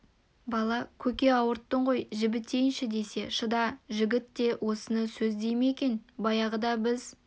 бала көке ауырттың ғой жібітейінші десе шыда жігіт те осыны сөз дей ме екен баяғыда біз